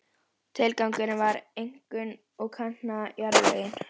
Tilgangurinn var einkum að kanna jarðlögin.